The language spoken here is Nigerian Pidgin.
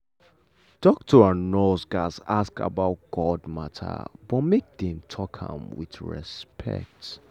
doctor and nurse gatz ask about god matter but make dem talk am with respect.